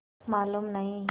मालूम नहीं